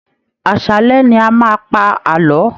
Àṣálẹ́ ni a máa ń pa àlọ́